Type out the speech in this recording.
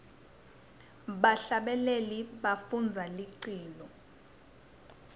bahlabeleli bafundza liculo